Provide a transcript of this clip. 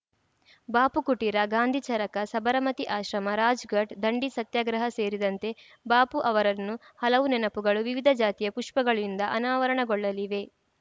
ಬಾಪು ಕುಟೀರ ಗಾಂಧಿ ಚರಕ ಸಬರಮತಿ ಆಶ್ರಮ ರಾಜ್‌ಘಾಟ್‌ ದಂಡಿ ಸತ್ಯಾಗ್ರಹ ಸೇರಿದಂತೆ ಬಾಪು ಅವರನ್ನು ಹಲವು ನೆನಪುಗಳು ವಿವಿಧ ಜಾತಿಯ ಪುಷ್ಪಗಳಿಂದ ಅನಾವರಣಗೊಳ್ಳಲಿವೆ